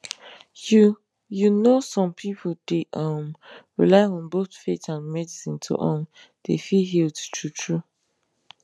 you you know some pipu dey um rely on both faith and medicine to um dey feel healed true true